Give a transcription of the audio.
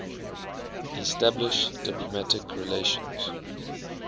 establish diplomatic relations